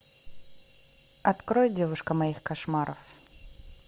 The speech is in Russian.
открой девушка моих кошмаров